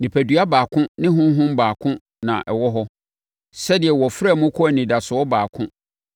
Nipadua baako ne Honhom baako na ɛwɔ hɔ, sɛdeɛ wɔfrɛɛ mo kɔɔ anidasoɔ baako,